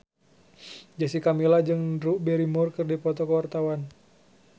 Jessica Milla jeung Drew Barrymore keur dipoto ku wartawan